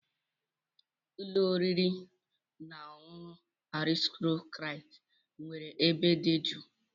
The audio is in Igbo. Ụlọ oriri na ọṅụṅụ Aristocrat nwere ebe dị jụụ.